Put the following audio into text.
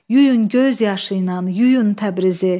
Yuyun göz yaşı ilə, yuyun Təbrizi.